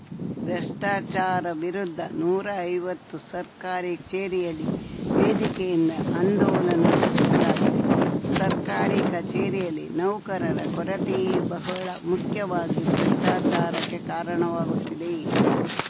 ಭ್ರಷ್ಟಾಚಾರ ವಿರುದ್ಧ ನೂರಾ ಐವತ್ತು ಸರ್ಕಾರಿ ಕಚೇರಿಯಲ್ಲಿ ವೇದಿಕೆಯಿಂದ ಅಂದೋಲನ ರೂಪಿಸಲಾಗಿದೆ ಸರ್ಕಾರಿ ಕಚೇರಿಯಲ್ಲಿ ನೌಕರರ ಕೊರತೆಯೇ ಬಹುಳ ಮುಖ್ಯವಾಗಿ ಭ್ರಷ್ಟಾಚಾರಕ್ಕೆ ಕಾರಣವಾಗುತ್ತಿದೆ